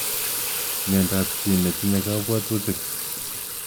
Mnyendo ab chi netinye kabwatutik.